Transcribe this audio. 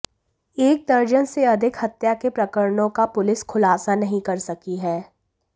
एक दर्जन से अधिक हत्या के प्रकरणों का पुलिस खुलासा नहीं कर सकी है